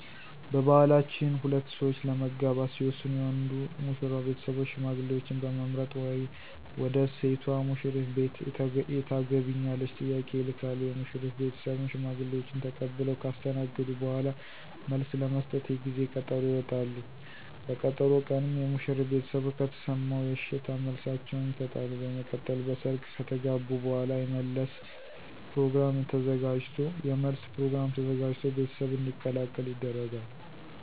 በባህላችን ሁለት ሠዎች ለመጋባት ሲወስኑ የወንዱ (ሙሽራው ) ቤተሰቦች ሽማግሌዎችን በመምረጥ ወደ ሴቷ (ሙሽሪት) ቤት የታገቢኛለሽ ጥያቄ ይልካሉ፤ የሙሽሪት ቤተሰብም ሽማግሌዎችን ተቀብለው ካስተናገዱ በኋላ መልስ ለመስጠት የጊዜ ቀጠሮ ይወጣሉ፤ በቀጠሮ ቀንም የሙሽሪት ቤተሰቦች ከተሰማሙ የእሽታ መልሳቸውን ይሠጣሉ፤ በመቀጠል በሰርግ ከተጋቡ በኋላ የመለስ ፕሮግራም ተዘጋጅቶ ቤተሰብ እንዲቀላቀል ይደረጋል።